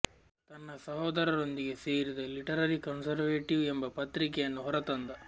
ತನ್ನ ಸಹೋದರರೊಂದಿಗೆ ಸೇರಿ ದ ಲಿಟರರಿ ಕನ್ಸರ್ವೇಟಿವ್ ಎಂಬ ಪತ್ರಿಕೆಯನ್ನು ಹೊರತಂದ